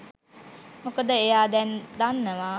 මොකද එයා දැන් දන්නවා